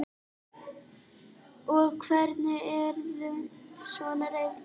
Og hverjir urðu svona reiðir?